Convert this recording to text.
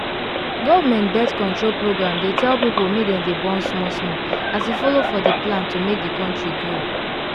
government birth-control programdey tell people make dem dey born small smallas e follow for the plan to make the country grow.